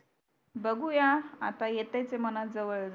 बगुया आता येते ते मना जवळ